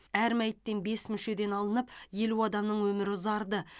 әр мәйіттен бес мүшеден алынып елу адамның өмірі ұзарды